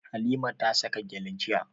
Halima ta saka gyale jiya.